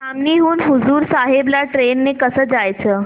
धामणी हून हुजूर साहेब ला ट्रेन ने कसं जायचं